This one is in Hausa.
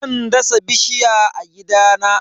Zan dasa bishiya a gidana.